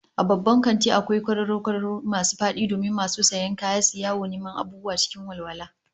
A babban kanti akwai kwararo kwararo masu fadi domin masu sayan kaya suyi yawon neman abubuwa cikin walwala